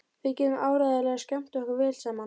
Við getum áreiðanlega skemmt okkur vel saman.